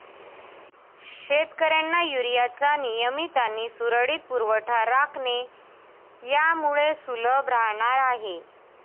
शेतकऱ्यांना युरियाचा नियमित आणि सुरळीत पुरवठा राखणे यामुळे सुलभ राहणार आहे